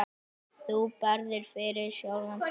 Þú barðist fyrir sjálfu lífinu.